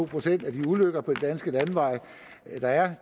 procent af de ulykker der er